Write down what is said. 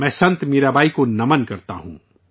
میں سنت میرا بائی کو خراج عقیدت پیش کرتا ہوں